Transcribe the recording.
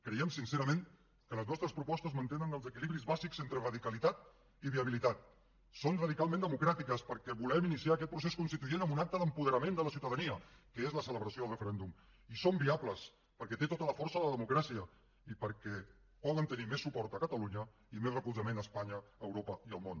creiem sincerament que les nostres propostes mantenen els equilibris bàsics entre radicalitat i viabilitat són radicalment democràtiques perquè volem iniciar aquest procés constituent amb un acte d’apoderament de la ciutadania que és la celebració del referèndum i són viables perquè té tota la força de la democràcia i perquè poden tenir més suport a catalunya i més recolzament a espanya a europa i al món